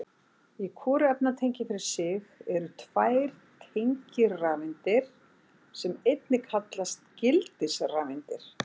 Í hvoru efnatengi fyrir sig eru tvær tengirafeindir sem einnig kallast gildisrafeindir.